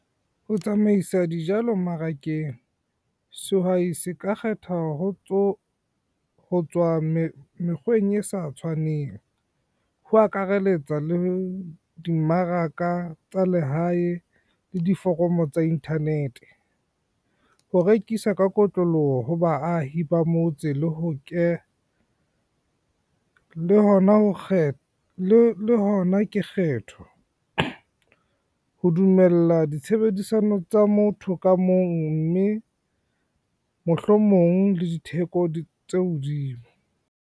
Ho tsamaisa dijalo mmarakeng, sehwai se ka kgetha ho tswa mekgweng e sa tshwaneng, ho akaraletsa le dimmaraka tsa lehae le diforomo tsa internet. Ho rekisa ka kotloloho ho baahi ba motse le hona ke kgetho, ho dumella ditshebedisano tsa motho ka mong mme mohlomong le ditheko tse hodimo.